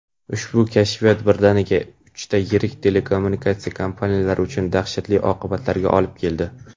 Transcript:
Ushbu "kashfiyot" birdaniga uchta yirik telekommunikatsiya kompaniyalari uchun dahshatli oqibatlarga olib keldi.